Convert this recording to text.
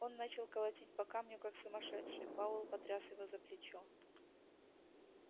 он начал колотить по камню как сумасшедший пауэлл потряс его за плечо